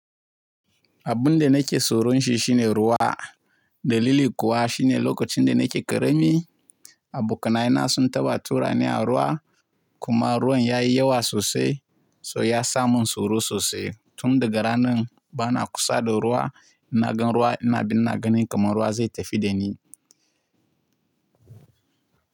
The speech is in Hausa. Abun da nake tsoron shi shine ruwa Dalili kuwa shine lokacin da nake ƙarami, abokanai na sun taɓa turani a ruwa, kuma ruwan ya yi yawa sosai, so ya sa mun tsoro sosai. Tun daga ranan, bana kusa da ruwa, ina gan ruwa ina bin ina ganin kamar ruwa zai tafi da ni.